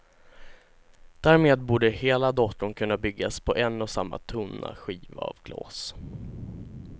Därmed borde hela datorn kunna byggas på en och samma tunna skiva av glas.